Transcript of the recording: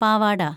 പാവാട